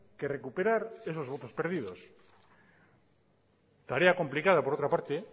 que recuperar esos votos perdidos tarea complicada por otra parte